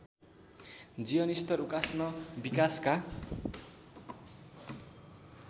जीवनस्तर उकास्न विकासका